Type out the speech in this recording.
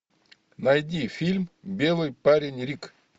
найди фильм белый парень рик